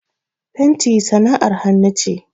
Fenti sana'ar hannu ce.